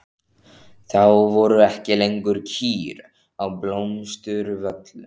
Þá voru ekki lengur kýr á Blómsturvöllum.